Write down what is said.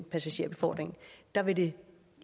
passagerbefordringen der vil det